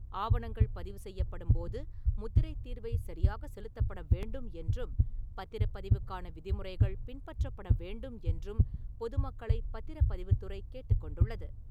ஆவணங்கள் பதிவு செய்யப்படும்போது, முத்திரைத் தீர்வை சரியாக செலுத்தப்பட வேண்டும் என்றும் பத்திரப் பதிவுக்கான விதிமுறைகள் பின்பற்றப்பட வேண்டும் என்றும் பொதுமக்களைப் பத்திரப் பதிவுத்துறை கேட்டுக்கொண்டுள்ளது.